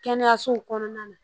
Kɛnɛyasow kɔnɔna na